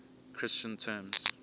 christian terms